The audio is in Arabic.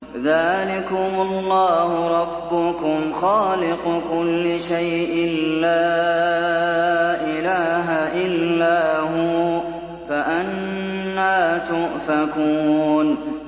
ذَٰلِكُمُ اللَّهُ رَبُّكُمْ خَالِقُ كُلِّ شَيْءٍ لَّا إِلَٰهَ إِلَّا هُوَ ۖ فَأَنَّىٰ تُؤْفَكُونَ